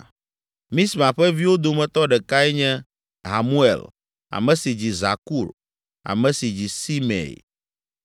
Misma ƒe viwo dometɔ ɖekae nye Hamuel, ame si dzi Zakur, ame si dzi Simei.